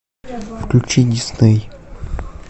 включи дисней